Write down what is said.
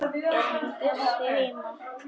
Er hann Bjössi heima?